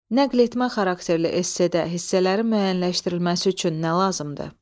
Nəqletmə xarakterli essedə hissələrin müəyyənləşdirilməsi üçün nə lazımdır?